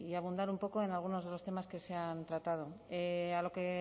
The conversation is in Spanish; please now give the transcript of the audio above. ahondar un poco en algunos de los temas que se han tratado a lo que